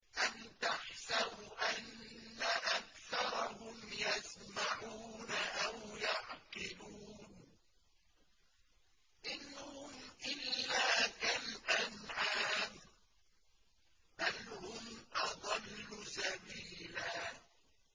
أَمْ تَحْسَبُ أَنَّ أَكْثَرَهُمْ يَسْمَعُونَ أَوْ يَعْقِلُونَ ۚ إِنْ هُمْ إِلَّا كَالْأَنْعَامِ ۖ بَلْ هُمْ أَضَلُّ سَبِيلًا